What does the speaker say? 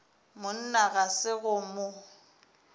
monna ga se go mo